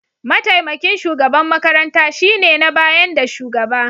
Mataimakin shugaban makaranta shine na bayan da shugaba.